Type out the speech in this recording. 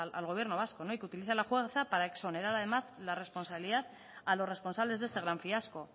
al gobierno vasco y que utiliza la jueza para exonerar además la responsabilidad a los responsables de este gran fiasco